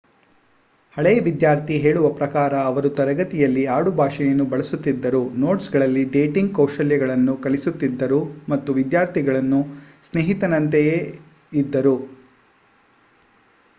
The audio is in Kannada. ಹಳೆಯ ವಿದ್ಯಾರ್ಥಿ ಹೇಳುವ ಪ್ರಕಾರ ಅವರು 'ತರಗತಿಯಲ್ಲಿ ಆಡುಭಾಷೆಯನ್ನು ಬಳಸುತ್ತಿದ್ದರು ನೋಟ್ಸ್‌ಗಳಲ್ಲಿ ಡೇಟಿಂಗ್ ಕೌಶಲ್ಯಗಳನ್ನು ಕಲಿಸುತ್ತಿದ್ದರು ಮತ್ತು ವಿದ್ಯಾರ್ಥಿಗಳ ಸ್ನೇಹಿತನಂತೆಯೇ ಇದ್ದರು'